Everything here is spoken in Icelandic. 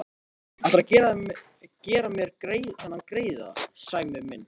Ætlarðu að gera mér þennan greiða, Sæmi minn?